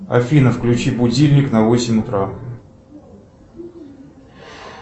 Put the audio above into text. афина включи будильник на восемь утра